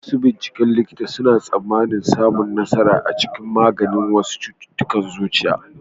Masu binciken likita suna tsammanin samun nasara a cikin maganin wasu cututtukan zuciya.